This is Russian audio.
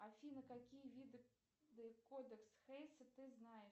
афина какие виды кодекс хейса ты знаешь